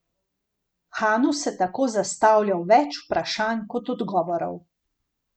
Hanu se tako zastavlja več vprašanj kot odgovorov.